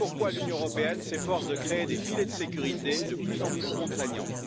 L'Union européenne s'efforce ainsi de créer des filets de sécurité de plus en plus contraignants.